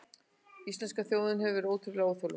Íslenska þjóðin hefur verið ótrúlega þolinmóð